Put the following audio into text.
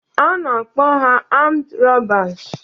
A na-akpọ ha amd rọbas